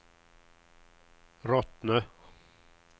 Rottne